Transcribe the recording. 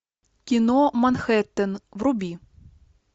кино манхеттен вруби